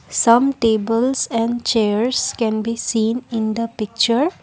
some tables and chairs can be seen in the picture.